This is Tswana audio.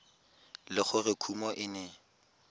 le gore kumo e ne